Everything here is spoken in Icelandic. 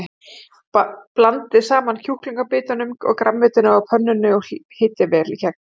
Blandið saman kjúklingabitunum og grænmetinu á pönnunni og hitið vel í gegn.